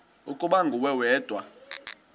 ukuba nguwe wedwa